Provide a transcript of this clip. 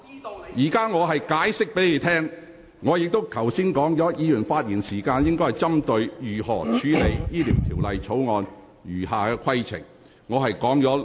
我現正向你說明，而剛才我亦已數次清楚提醒，議員發言時應針對如何處理《條例草案》的餘下程序。